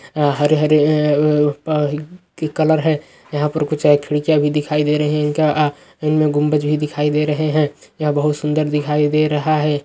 हरे हरे है कलर है यहाँ पर कुछ खिड़कियां भी दिखाई दे रहा है इनका गुम्बज भी दिखाई दे रहा है यहां बहुत सुन्दर दिखाई दे रहा है।